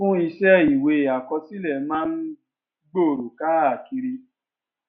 fún iṣẹ ìwé àkọsílẹ máa ń gbòòrò káàkiri